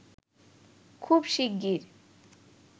খুব শিগগির